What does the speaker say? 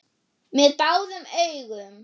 Með báðum augum.